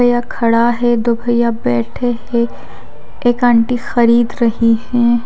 भैया खड़ा है दो भैया बैठे हैं एक आंटी खरीद रही हैं।